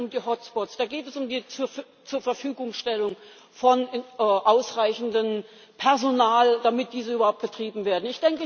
Da geht es um die Hotspots, da geht es um die zur Zurverfügungstellung von ausreichendem Personal, damit diese überhaupt betrieben werden.